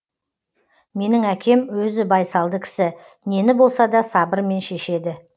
менің әкем өзі байсалды кісі нені болсада сабырмен шешеді